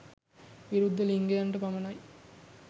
විරුද්ද ලිංගිකයන්ට පමණයි